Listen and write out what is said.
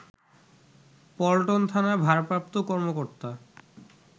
পল্টন থানার ভারপ্রাপ্ত কর্মকর্তা